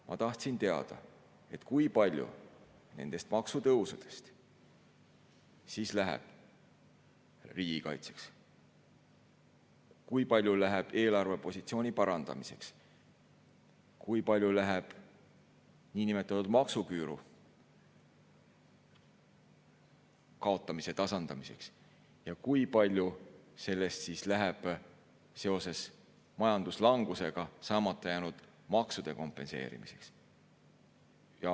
Ma tahtsin teada, kui palju nendest maksutõusudest läheb riigikaitseks, kui palju eelarvepositsiooni parandamiseks, kui palju niinimetatud maksuküüru kaotamise tasandamiseks ja kui palju sellest läheb majanduslanguse tõttu saamata jäänud maksude kompenseerimiseks.